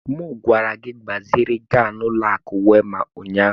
M gwara gị gbaziri ego ahụ n'ụlọ akụ Wema ụnyahụ!